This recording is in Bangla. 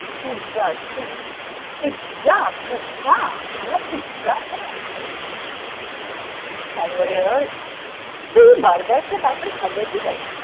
Pizza আছে। Pi Pizza Pizza Pizza Subway. তুই burger খেয়ে তারপর সাবওয়েতে যাবি?